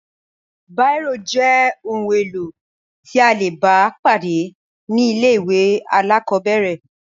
Bírò jẹ́ ohun-èlò tí a le bá pàdé ní ilé-ìwé alákọ̀ọ́bẹ̀rẹ̀.